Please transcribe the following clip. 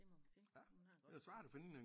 Det må man sige hun har